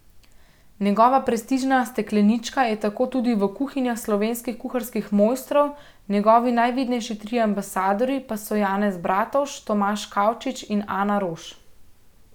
Njegova prestižna steklenička je tako tudi v kuhinjah slovenskih kuharskih mojstrov, njegovi najvidnejši trije ambasadorji pa so Janez Bratovž, Tomaž Kavčič in Ana Roš.